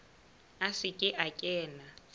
a se ke a kena